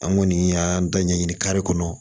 An kɔni y'an dɔ ɲɛ ɲini kare kɔnɔ